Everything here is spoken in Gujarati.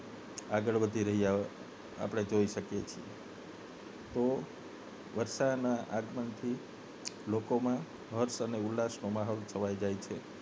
આગળ વધી રહ્યા આપને જોઈ શકીએ છે તો વર્ષાના આગમન થી લોકોમાં હર્ષ અને ઉલ્લાસનો માહોલ છવાઈ જાય છે